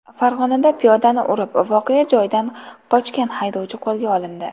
Farg‘onada piyodani urib, voqea joyidan qochgan haydovchi qo‘lga olindi.